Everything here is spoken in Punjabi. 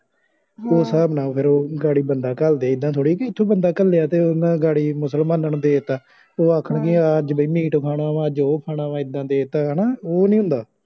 ਉਹ ਸਾਹਬ ਨਾਲ ਫੇਰ ਉਹ ਗਾੜੀ ਬੰਦਾ ਘਲ ਦੇ ਇੱਦਾ ਥੋੜੀ ਇਥੋਂ ਬੰਦਾ ਘਲਯਾਂ ਉਹਨਾਂ ਨੇ ਗਾੜੀ ਮੁਸਲਮਾਨਾਂ ਨੂੰ ਦੇਤਾ ਉਹ ਆਖਣ ਗਿਆ ਵੀ ਮੀਟ ਖਾਣਾ ਅੱਜ ਉਹ ਖਾਣਾ ਵਾ ਹਣੇਦਾ ਦੇ ਤਾ ਹਣਾ ਉਹ ਨੀ ਹੁੰਦਾ